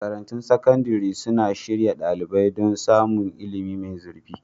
Makarantun sakandare suna shirya ɗalibai don samun ilimi mai zurfi.